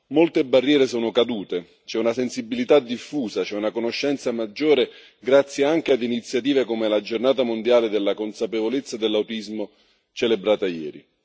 Molte barriere sono cadute, c'è una sensibilità diffusa, c'è una conoscenza maggiore grazie anche ad iniziative come la giornata mondiale della consapevolezza dell'autismo, celebrata ieri.